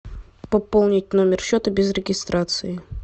пополнить номер счета без регистрации